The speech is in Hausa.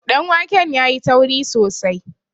danwakem ya yi tauri sosai